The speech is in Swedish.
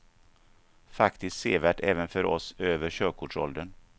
Faktiskt sevärt även för oss över körkortsåldern.